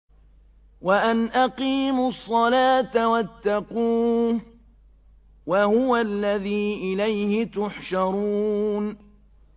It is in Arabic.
وَأَنْ أَقِيمُوا الصَّلَاةَ وَاتَّقُوهُ ۚ وَهُوَ الَّذِي إِلَيْهِ تُحْشَرُونَ